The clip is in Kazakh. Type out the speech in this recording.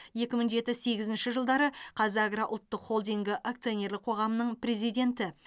екі мың жеті сегізінші жылдары қазагро ұлттық холдингі акционерлік қоғамының президенті